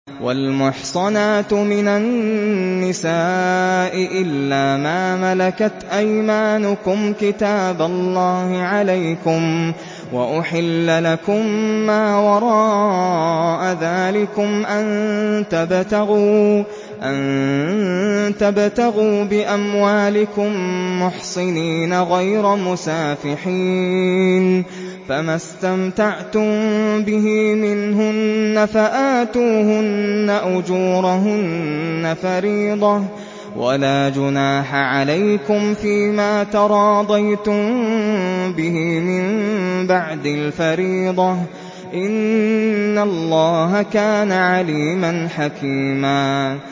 ۞ وَالْمُحْصَنَاتُ مِنَ النِّسَاءِ إِلَّا مَا مَلَكَتْ أَيْمَانُكُمْ ۖ كِتَابَ اللَّهِ عَلَيْكُمْ ۚ وَأُحِلَّ لَكُم مَّا وَرَاءَ ذَٰلِكُمْ أَن تَبْتَغُوا بِأَمْوَالِكُم مُّحْصِنِينَ غَيْرَ مُسَافِحِينَ ۚ فَمَا اسْتَمْتَعْتُم بِهِ مِنْهُنَّ فَآتُوهُنَّ أُجُورَهُنَّ فَرِيضَةً ۚ وَلَا جُنَاحَ عَلَيْكُمْ فِيمَا تَرَاضَيْتُم بِهِ مِن بَعْدِ الْفَرِيضَةِ ۚ إِنَّ اللَّهَ كَانَ عَلِيمًا حَكِيمًا